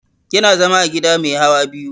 Yana zama a gida mai hawa biyu